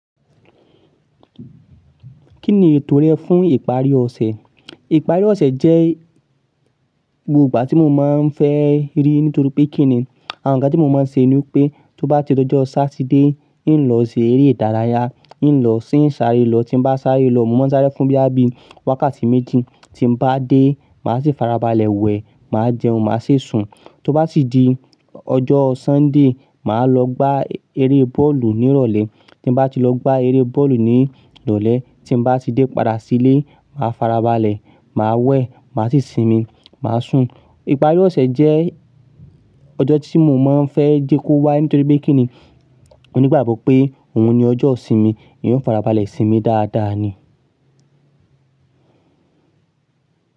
Kí ni ètò rẹ fún ìparí ọ̀sẹ̀? Ìparí ọ̀sẹ̀ jẹ́ gbogbo ìgbà tí mo máa ń fẹ́ rí nítorí pé kí ni, àwọn n ga tí mo máa ń ṣe ni pé tó bá ti tó ọjọ́ Sátidé, ì lọ ṣe eré ìdárayá, ì lọ sí ìsàré lọ. Tí n ba sáré lọ, mo máa ń sáré fún boya bí i wákàtí méjì. Tí mo bá dé, màá sì farabalẹ̀ wẹ̀, màá jẹun, màá sì sùn. Tó bá si di ọjọ́ Sọ́ńdè, màá lọ gbá eré bọ́ọ̀lù ní ìrọ̀lẹ́. Tí n bá ti lọ gbá eré bọ́ọ̀lù ní ìrọ̀lẹ́, tí mo bá ti dé padà sílé, màá farabalẹ̀, màá wẹ̀, màá sì sinmi, màá sùn. Ìparí ọ̀sẹ̀ jẹ́ ọjọ́ tí mo máa ń fẹ́ jẹ kó wá nítorí pé kí ni, mo nígbàgbọ́ pé òun ni ọjọ́ òsinmi. Eyan o farabalẹ̀ sinmi dáadáa ni.